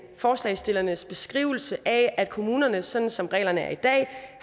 forslagsstillernes beskrivelse af at kommunerne sådan som reglerne er i dag